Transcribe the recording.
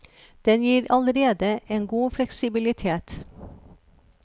Den gir allerede en god fleksibilitet.